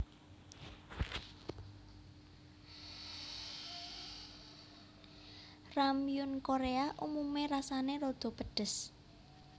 Ramyeon Korea umume rasane rada pedhes